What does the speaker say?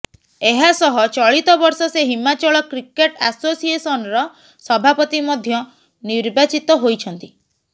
ଏହାସହ ଚଳିତ ବର୍ଷ ସେ ହିମାଚଳ କ୍ରିକେଟ ଆସୋସିଏସନର ସଭାପତି ମଧ୍ୟ ନିର୍ବାଚିତ ହୋଇଛନ୍ତି